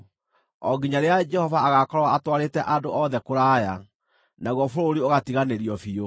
o nginya rĩrĩa Jehova agaakorwo atwarĩte andũ othe kũraya, naguo bũrũri ũgatiganĩrio biũ.